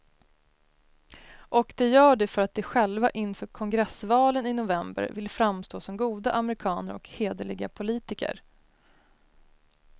Och de gör det för att de själva inför kongressvalen i november vill framstå som goda amerikaner och hederliga politiker.